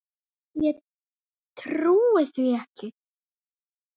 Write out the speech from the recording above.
Ég trúi því ekki